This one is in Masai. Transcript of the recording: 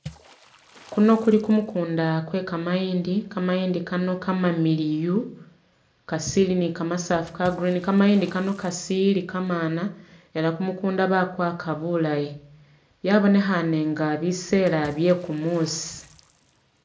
Kuno kuli kumukunda kwe kamayindi, kamayindi kano kamamiliyu kasili ni kamasafu ka green, kamayindi kano kasili kamana ela kumukunda bakwaaka bulayi, yabonekhane nga bisela bye kumusi